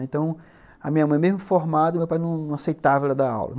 Então, a minha mãe, mesmo formada, o meu pai não aceitava ela dar aula.